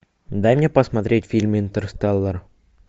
дай мне посмотреть фильм интерстеллар